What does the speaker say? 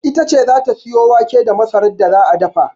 Ita ce za ta sayo wake da masarar da za a dafa.